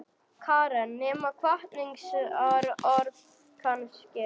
Karen: Nema hvatningarorð kannski?